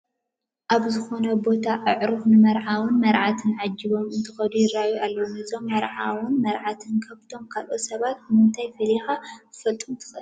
ኣብ ዝኾነ ቦታ ኣዕሩኽ ንመርዓውን መርዓትን ዓጂቦም እንትኸዱ ይርአዩ ኣለዉ፡፡ ነዞም መርዓውን መርዓትን ካብቶም ካልኦት ሰባት ብምንታይ ፈሊኻ ክትፈልጦም ትኽእል?